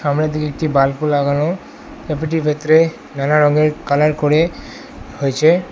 আমরা দেখি একটি বাল্বও লাগানো ক্যাফেটির ভেতরে নানা রঙের কালার করে হয়েছে।